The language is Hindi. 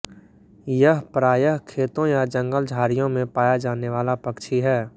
यह प्रायः खेतों या जंगलझाड़ियों में पाया जाने वाला पक्षी है